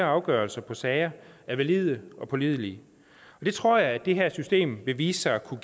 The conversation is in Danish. afgørelser af sager er valide og pålidelige og det tror jeg at det her system vil vise sig at kunne